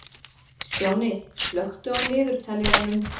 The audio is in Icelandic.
Stjáni, slökktu á niðurteljaranum.